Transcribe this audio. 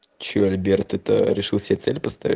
чего альберт это решил себе цель поставить